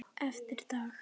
Eftir dag.